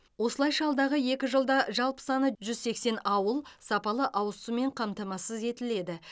осылайша алдағы екі жылда жалпы саны жүз сексен ауыл сапалы ауыз сумен қамтамасыз етіледі